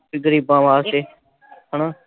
ਗ਼ਰੀਬਾਂ ਵਾਸਤੇ ਹਨਾ ।